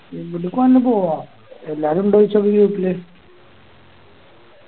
എങ്ങിട്ടേക്കാണെ പോവാ എല്ലാരും ഉണ്ടോ ചോയിച്ചോക്ക് Group